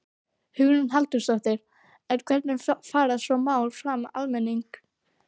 Hugrún Halldórsdóttir: En hvernig fara svona mál framhjá almenningi?